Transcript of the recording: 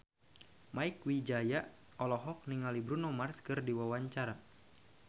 Mieke Wijaya olohok ningali Bruno Mars keur diwawancara